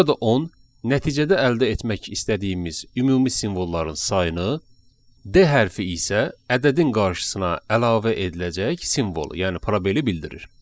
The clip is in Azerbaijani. Burada 10 nəticədə əldə etmək istədiyimiz ümumi simvolların sayını, D hərfi isə ədədin qarşısına əlavə ediləcək simvolu, yəni probeli bildirir.